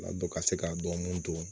Ladon ka se ka dɔnko don